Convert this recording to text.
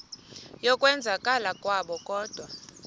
yokwenzakala kwabo kodwa